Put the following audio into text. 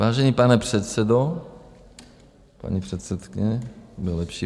Vážený, pane předsedo, paní předsedkyně, bude lepší...